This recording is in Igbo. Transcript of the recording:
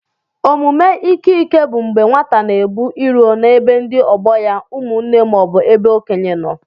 Ọmụme ike ike bụ mgbé nwata na-ebu irò na-ebe ndị ọgbọ ya, ụmụnne maọbu ebe okénye nọ.